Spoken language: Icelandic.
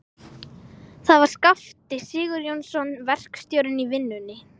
Það var Skafti Sigurjónsson, verkstjórinn í vinnunni.